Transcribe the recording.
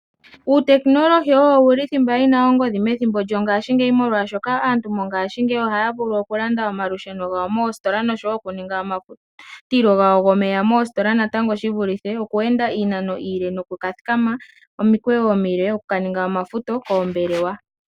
Uutekinolohi owo wuli thimba yina ongodhi methimbo lyongaashingeyi molwaashoka aantu ngaashingeyi ohaya vulu okulanda omalusheno gawo moostola noshowo okuninga omafutilo gawo gomeya moostola natango shivulithe okweenda iinano iile, nokuka thikama omukweyo omile okuka ninga omafutilo koombelewa.